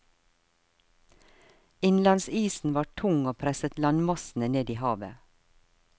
Innlandsisen var tung og presset landmassene ned i havet.